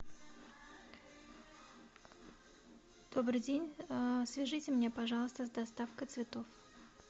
добрый день свяжите меня пожалуйста с доставкой цветов